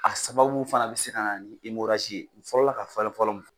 A sababu fana be se ka na ni ye. Fɔlɔla ka falen fɔlɔ